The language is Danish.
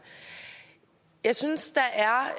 jeg synes